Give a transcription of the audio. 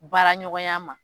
Baara ɲɔgɔnya ma.